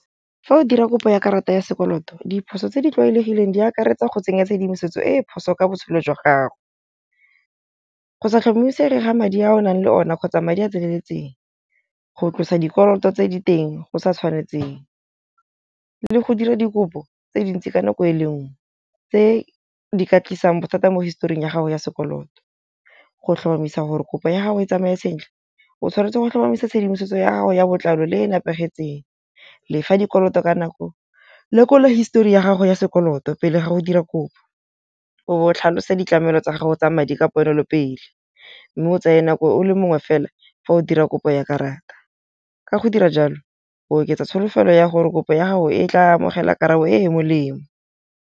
Fa o dira kopo ya karata ya sekoloto diphoso tse di tlwaelegileng di akaretsa go tsenya tshedimosetso e e phoso ka botshelo jwa gago. Go sa tlhomamisege ga madi a o nang le one kgotsa madi a tseneletseng. Go tlosa dikoloto tse diteng go sa tshwanetseng le go dira dikopo tse dintsi ka nako e le nngwe tse di ka tlisang bothata mo historing ya gago ya sekoloto. Go tlhomamisa gore kopo ya gago e tsamaye sentle o tshwanetse go tlhomamisa tshedimosetso ya gago ya botlalo le e nepahetseng. Lefa dikoloto ka nako. Lekola histori ya gago ya sekoloto pele ga go dira kopo. O tlhalose ditlamelo tsa gago tsa madi ka pono le pele. Mme o tsaye nako o le mongwe fela fa o dira kopo ya karata. Ka go dira jalo o oketsa tsholofelo ya gore kopo ya gago e tla amogela karabo e molemo.